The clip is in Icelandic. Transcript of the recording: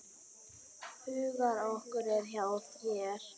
Hugur okkar er hjá þér.